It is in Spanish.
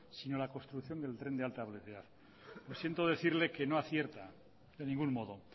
sino la construcción del tren de alta velocidad siento decirle que no acierta en ningún modo